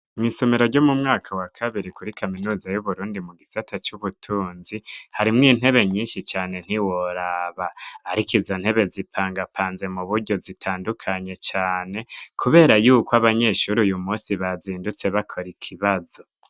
Mw'isomero ryo mu mwaka wa kabiri kuri kaminuza y'Uburundi mu gisata c'ubutunzi harimwo intebe nyinshi cane ntiworaba. Ariko izo ntebe zipangapanze mu buryo zitandukanye cane, kubera yuko abanyeshuri uyu munsi bazindutse bakora ikibazo.